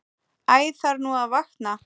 Æ þarf nú að vakna.